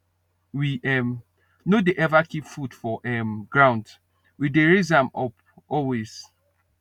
we um no dey ever keep food for um ground we dey raise am up always